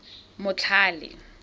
motlhale